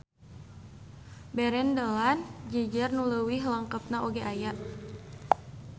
Berendelan jejer nu leuwih lengkep oge aya.